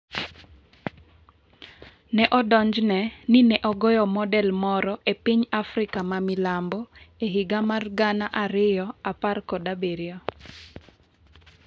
Ne odonjne ni ne ogoyo model moro e piny Afrika ma milambo e higa mar 2017.